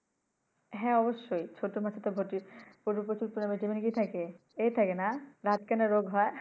হ্যাঁ অবশ্যই ছোট মাছ ভটি প্রচুর পরিমান Vitamin য় থাকে এ থাকে না রাত কানা রোগ হয়।